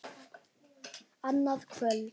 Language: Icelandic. Annað kvöld.